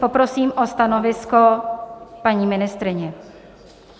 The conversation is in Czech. Poprosím o stanovisko paní ministryni.